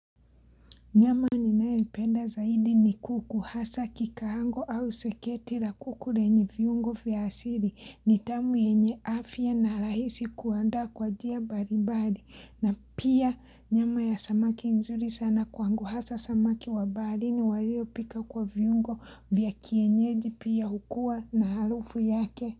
Nyama ninayoipenda zaidi ni kuku hasa kikaango au seketi la kuku lenye viungo vya asili. Ni tamu yenye afya na rahisi kuandaa kwa njia mbali mbali na pia nyama ya samaki nzuri sana kwangu hasa samaki wa baharini waliopikwa kwa viungo vya kienyeji pia hukua na harufu yake.